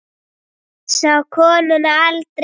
Hún sá konuna aldrei.